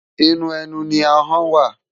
Inú ènú ni áhòn wá